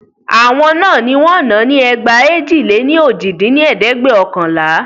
Àwọn náà ní wọ́n náà ni ẹgba èjì-lé-ní-ojì dín ní ẹ̀ẹ́dẹ́gbẹ́ọ̀kànlá